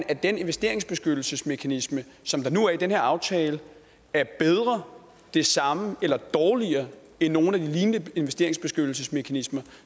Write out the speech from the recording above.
at den investeringsbeskyttelsesmekanisme som der nu er i den her aftale er bedre den samme eller dårligere end nogle af de lignende investeringsbeskyttelsesmekanismer